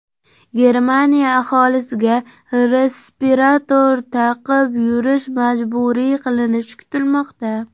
Germaniya aholisiga respirator taqib yurish majburiy qilinishi kutilmoqda.